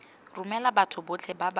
romela batho botlhe ba ba